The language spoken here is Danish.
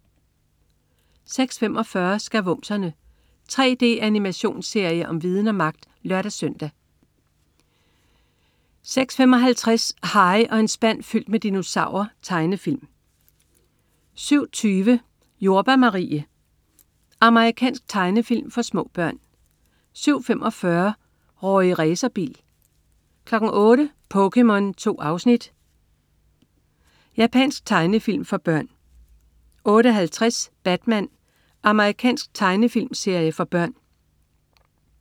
06.45 Skavumserne. 3D-animationsserie om viden og magt! (lør-søn) 06.55 Harry og en spand fyldt med dinosaurer. Tegnefilm 07.20 Jordbær Marie. Amerikansk tegnefilm for små børn 07.45 Rorri Racerbil 08.00 POKéMON. 2 afsnit. Japansk tegnefilm for børn 08.50 Batman. Amerikansk tegnefilmserie for børn